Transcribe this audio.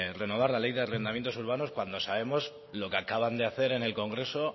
renovar la ley de arrendamientos urbanos cuando sabemos lo que acaban de hacer en el congreso